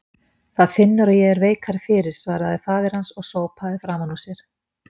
Það finnur að ég er veikari fyrir, svaraði faðir hans og sópaði framan úr sér.